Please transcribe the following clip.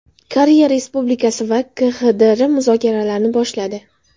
Koreya Respublikasi va KXDR muzokaralarni boshladi.